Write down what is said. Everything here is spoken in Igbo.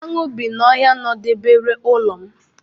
Aṅụ bi na ọhịa nọdebere ụlọ m.